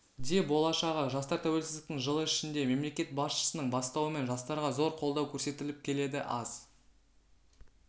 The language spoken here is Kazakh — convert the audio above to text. де болашағы жастар тәуелсіздіктің жылы ішінде мемлекет басшысының бастауымен жастарға зор қолдау көрсетіліп келеді аз